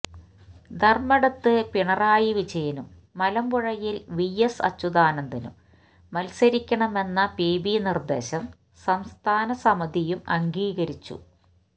ധര്മടത്ത് പിണറായി വിജയനും മലമ്പുഴയില് V S അച്യുതാനന്ദനും മത്സരിക്കണമെന്ന പി ബി നിര്ദേശം സംസ്ഥാന സമിതിയും അംഗീകരിച്ചു